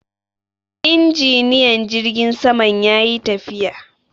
Injiniyan jirgin saman ya yi tafiya.